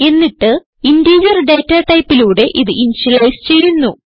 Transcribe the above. എന്നിട്ട് integer data ടൈപ്പിലൂടെ ഇത് ഇനിഷ്യലൈസ് ചെയ്യുന്നു